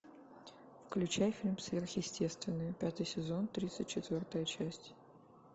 включай фильм сверхъестественное пятый сезон тридцать четвертая часть